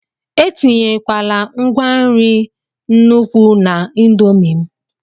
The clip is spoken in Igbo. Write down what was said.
etinyekwala ngwa nri n'nukwu na indomie m!